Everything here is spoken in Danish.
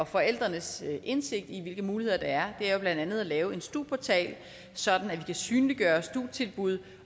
forældrenes indsigt i hvilke muligheder der er er jo blandt andet at lave en stu portal sådan at vi kan synliggøre stu tilbud